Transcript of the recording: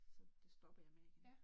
Så det stoppede jeg med igen